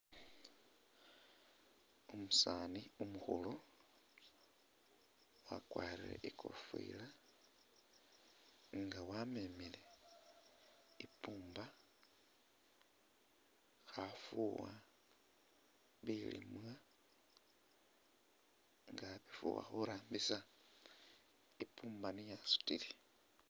Umusaani umukhulu wakwarire i'kofila nga wamemile i'pumba khafuuwa bilimwa nga abifuuwa khurambisa i'pumba niye asutile.